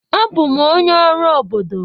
Abụ m onye ọrụ obodo.